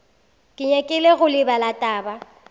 ke nyakile go lebala taba